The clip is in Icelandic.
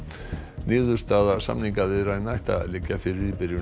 niðurstaða samningaviðræðna ætti að liggja fyrir í byrjun